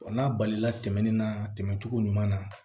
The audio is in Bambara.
Wa n'a balila tɛmɛnen na tɛmɛ cogo ɲuman na